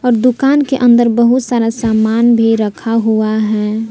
दुकान के अंदर बहुत सारा सामान भी रखा हुआ है।